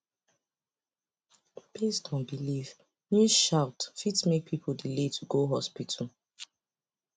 based on belief news shout fit make people delay to go hospital